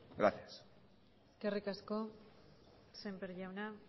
gracias eskerrik asko sémper jauna